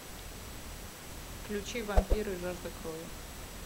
включи вампиры жажда крови